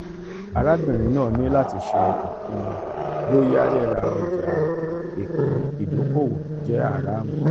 arabinrin naa ni lati se ipinnu boya rira oja ipin idokowo je haramu